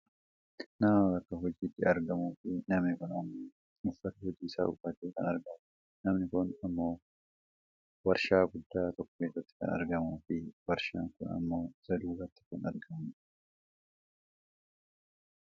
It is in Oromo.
Nama bakka hojiitti argamuu fi namni kun ammoo uffata hojiisaa uffatee kan argamudha. Namani kun ammoo waarshaa guddaa tokko keessatti kan argamuu fi waarshaan kun ammoo isa duubatti kan argamudha.